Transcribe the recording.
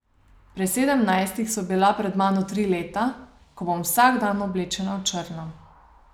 Pri sedemnajstih so bila pred mano tri leta, ko bom vsak dan oblečena v črno.